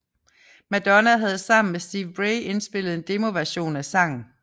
Madonna havde sammen med Steve Bray indspillet en demoversion af sangen